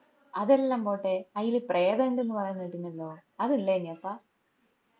അതെല്ലാം പോട്ടെ അയിൽ പ്രേതം ഇണ്ട്ന്ന് പറേന്ന കേട്ടിനല്ലോ അത് ഇള്ളേന്നയാപ്പാ